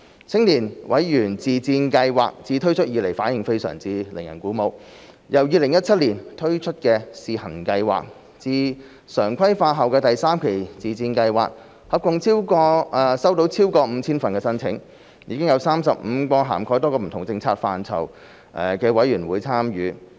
青年委員自薦計劃自推出以來反應非常令人鼓舞，由2017年推出的試行計劃至常規化後的第三期自薦計劃，合共收到超過 5,000 份申請，已有35個涵蓋多個不同政策範疇的委員會參與。